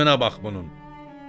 Müəlliminə bax bunun.